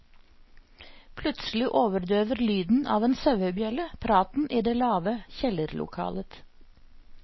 Plutselig overdøver lyden av en sauebjelle praten i det lave kjellerlokalet.